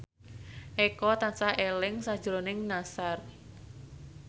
Eko tansah eling sakjroning Nassar